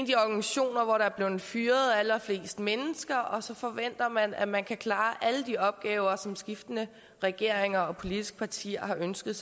de organisationer hvor der er blevet fyret allerflest mennesker og så forventer man at man kan klare alle de opgaver som skiftende regeringer og politiske partier har ønsket